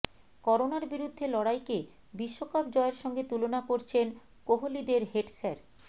করোনার বিরুদ্ধে লড়াইকে বিশ্বকাপ জয়ের সঙ্গে তুলনা করছেন কোহলিদের হেড স্যার